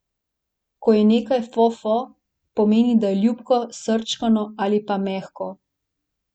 Ko je nekaj fofo, pomeni, da je ljubko, srčkano ali pa mehko.